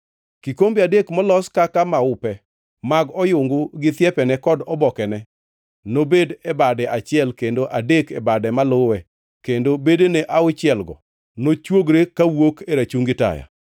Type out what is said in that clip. Kikombe adek molos kaka maupe mag oyungu gi thiepene kod obokene nobed e bade achiel kendo adek e bade maluwe kendo bedene auchielgo nochwogore kawuok e rachungi taya.